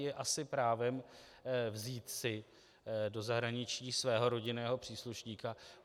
Je asi právem vzít si do zahraničí svého rodinného příslušníka.